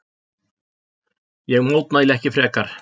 Ég mótmælti ekki frekar.